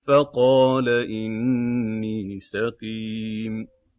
فَقَالَ إِنِّي سَقِيمٌ